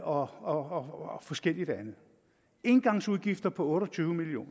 og forskelligt andet engangsudgifter på otte og tyve million